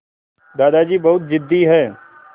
दादाजी बहुत ज़िद्दी हैं